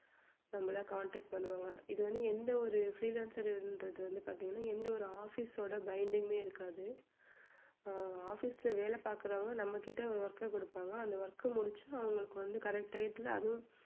நம்மள contact பண்ணுவாங்க இது வந்து எந்த ஒரு freelancer ன்றது வந்து பாத்தீங்கன்னா எந்த ஒரு office ஓட இருக்காது அஹ் office ல வேலை பார்க்கிறவங்க நம்மகிட்ட work அ கொடுப்பாங்க அந்த work அ முடிச்சு அவங்களுக்கு வந்து correct டயத்துல அதுவும்